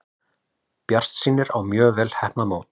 Bjartsýnir á mjög vel heppnað mót